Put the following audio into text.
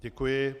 Děkuji.